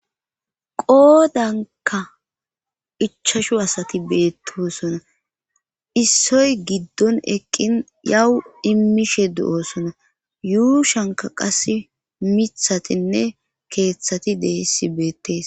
qoodanka ichashu asati beettoosona issoy giddon eqqin yawu immishe du7oosona yuushanka qas mithatinne keeththati deessi beettees